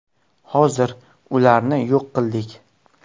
Hozir ularni yo‘q qildik.